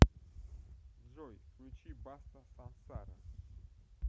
джой включи баста сансара